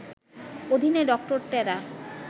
অধীনে ডক্টর টেরা